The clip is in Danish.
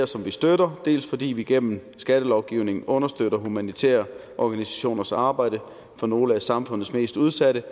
som vi støtter dels fordi vi gennem skattelovgivningen understøtter humanitære organisationers arbejde for nogle af samfundets mest udsatte